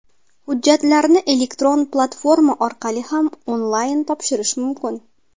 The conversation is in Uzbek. Hujjatlarni elektron platforma orqali ham onlayn topshirish mumkin.